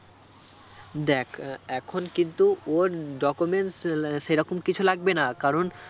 দেখ আহ এখন কিন্তু ওর documents সেরকম কিছু লাগবেনা কারণ